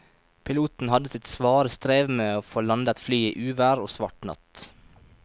Piloten hadde sitt svare strev med å få landet flyet i uvær og svart natt.